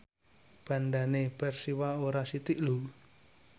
bandhane Persiwa ora sithik lho